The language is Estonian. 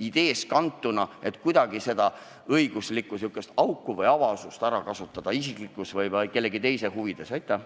ideest kantuna, et kuidagi seda õiguslikku auku või avaust isiklikes või kellegi teise huvides ära kasutada.